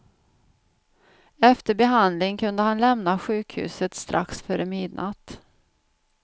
Efter behandling kunde han lämnade sjukhuset strax före midnatt.